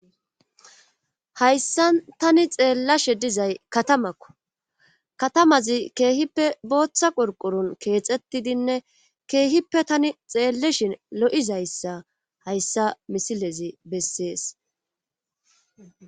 hayssa tani xeellashe dizay katamakko katamazi keehippe booththa qurqurun keexettidinne keehippe tani xeelleshin lo7izayssa hayssa misilezi bessees